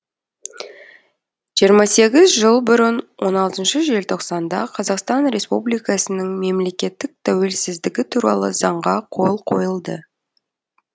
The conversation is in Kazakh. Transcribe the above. жиырма сегіз жыл бұрын он алтыншы желтоқсанда қазақстан республикасының мемлекеттік тәуелсіздігі туралы заңға қол қойылды